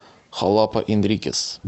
халапа энрикес